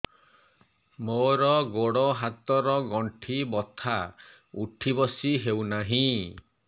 ମୋର ଗୋଡ଼ ହାତ ର ଗଣ୍ଠି ବଥା ଉଠି ବସି ହେଉନାହିଁ